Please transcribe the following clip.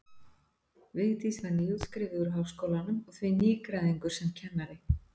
Vigdís var nýútskrifuð úr Háskólanum og því nýgræðingur sem kennari.